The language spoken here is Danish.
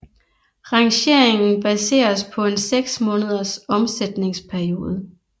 Rangeringen baseres på en seks måneders omsætningsperiode